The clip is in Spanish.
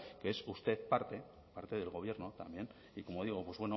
que es usted parte parte del gobierno también y como digo pues